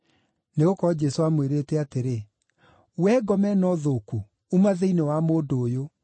Nĩgũkorwo Jesũ aamwĩrĩte atĩrĩ, “Wee ngoma ĩno thũku uma thĩinĩ wa mũndũ ũyũ!”